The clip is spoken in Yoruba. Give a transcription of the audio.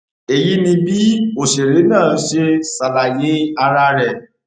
èyí ni bí òṣèré náà ṣe ṣàlàyé ara rẹ